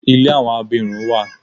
Ilé àwọn abirùn wa.